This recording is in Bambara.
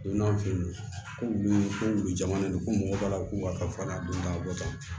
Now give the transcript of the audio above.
Don n'an fɛ yen nɔ ko wulu ko wulu jamana de don ko mɔgɔw b'a la k'u ka fɛn na don da wɔtan